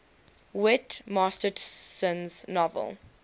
whit masterson's novel